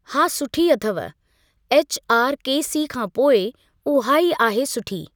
हा सुठी अथव एछआरकेसी खां पोइ उहा ई आहे सुठी।